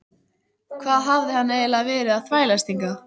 Hvað hafði hann eiginlega verið að þvælast hingað?